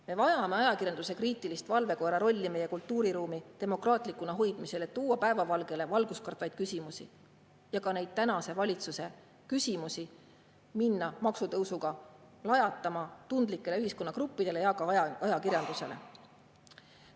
Me vajame ajakirjanduse kriitilist valvekoera rolli meie kultuuriruumi demokraatlikuna hoidmisel, et tuua päevavalgele valgustkartvaid küsimusi ja ka neid tänase valitsuse küsimusi minna maksutõusuga lajatama tundlikele ühiskonnagruppidele ja ka ajakirjandusele.